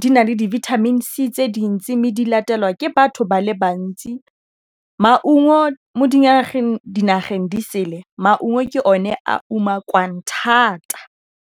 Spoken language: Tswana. di na le di vitamins tse dintsi mme di latelwa ke batho ba le bantsi maungo mo dinageng di sele maungo ke o ne a umakiwang thata.